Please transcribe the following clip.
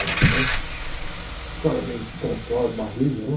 Os caras meio intelectual, de barriga, né?